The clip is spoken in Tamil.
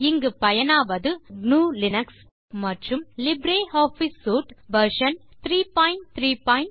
இங்கு பயனாவது gnuலினக்ஸ் மற்றும் லிப்ர் ஆஃபிஸ் சூட் வெர்ஷன் 334